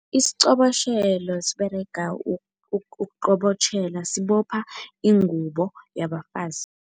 Isiqobotjhelo siberega ukuqobotjhela sibopha ingubo yabafazi.